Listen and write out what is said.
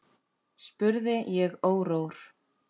spurði ég órór.